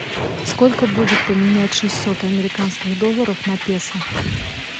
сколько будет поменять шестьсот американских долларов на песо